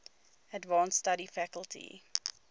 advanced study faculty